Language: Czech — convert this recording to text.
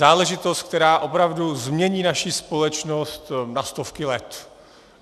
Záležitost, která opravdu změní naši společnost na stovky let.